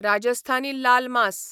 राजस्थानी लाल मास